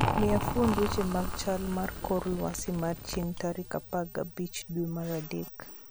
Mia fuond weche mag chal mar kor lwasi mar chieng' tarik apar gabich dwe mar adek